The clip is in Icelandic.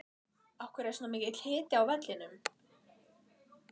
Af hverju var svona mikill hiti á vellinum?